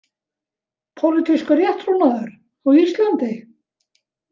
„Pólitískur rétttrúnaður“ á Íslandi?